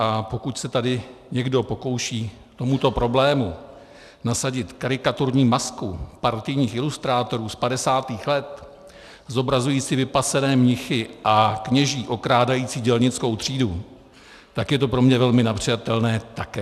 A pokud se tady někdo pokouší tomuto problému nasadit karikaturní masku partajních ilustrátorů z 50. let zobrazující vypasené mnichy a kněží okrádající dělnickou třídu, tak je to pro mě velmi nepřijatelné také.